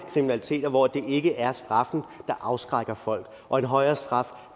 kriminalitet hvor det ikke er straffen der afskrækker folk og en højere straf